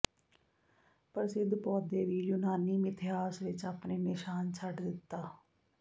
ਪ੍ਰਸਿੱਧ ਪੌਦੇ ਵੀ ਯੂਨਾਨੀ ਮਿਥਿਹਾਸ ਵਿੱਚ ਆਪਣੇ ਨਿਸ਼ਾਨ ਛੱਡ ਦਿੱਤਾ